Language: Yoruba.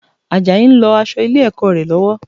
Àjàyí ń lọ aṣọ ilé-ẹ̀kọ́ rẹ̀ lọ́wọ́